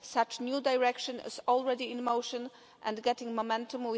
Such new direction is already in motion and getting momentum.